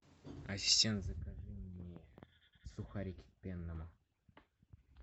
ассистент закажи мне сухарики к пенному